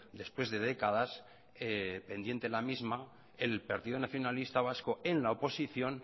después de décadas pendiente la misma el partido nacionalista vasco en la oposición